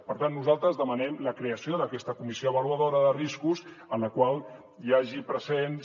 per tant nosaltres demanem la creació d’aquesta comissió avaluadora de riscos en la qual hi hagi presents